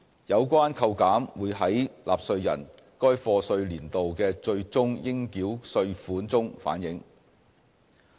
有關扣減會在納稅人該課稅年度的最終應繳稅款中反映。